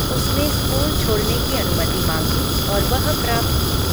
उसने स्कूल छोड़ने की अनुमति माँगी और वह प्राप्त की।